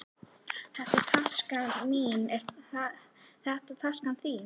Þetta er taskan mín. Er þetta taskan þín?